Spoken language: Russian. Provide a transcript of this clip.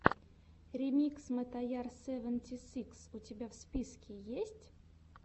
ремикс мотояр севенти сикс у тебя в списке есть